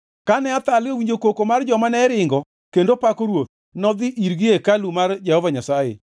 Kane Athalia owinjo koko mar joma ne ringo kendo pako ruoth, nodhi irgi e hekalu mar Jehova Nyasaye.